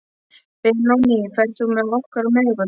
Benóný, ferð þú með okkur á miðvikudaginn?